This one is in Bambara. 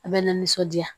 A bɛ na nisɔndiya